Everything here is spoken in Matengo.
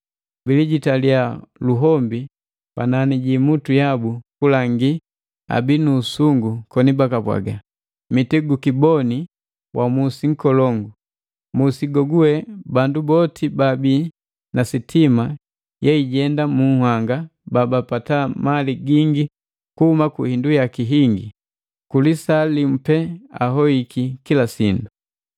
Bilijitilya luhombi panani jiimutu yabu kulangi abii nuusungu koni, “Mitigukiboni wa musi nkolongu! Musi go gugwe bandu boti baabi na sitima yeijenda mu nhanga babapata mali gingi kuhuma ku hindu yaki hingi. Ku lisaa limu pee ahoiki kila sindu!”